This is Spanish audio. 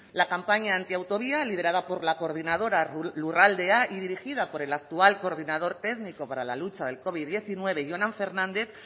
la campaña antiautovía liderada por la coordinadora lurraldea y dirigida por el actual coordenador técnico para la lucha del covid diecinueve jonan fernández